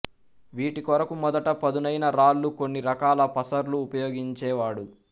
వీటి కొరకు మొదట పదునైన రాళ్ళు కొన్ని రకాల పసర్లు ఉపయోగించేవాడు